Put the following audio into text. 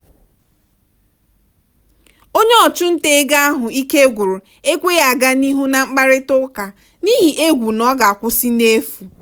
onye ọchụnta ego ahụ ike gwụrụ ekweghị aga n'ihu na mkparịta ụka n'ihi egwu n'ọga akwụsị n'efu.